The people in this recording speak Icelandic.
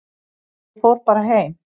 Ég fór bara heim.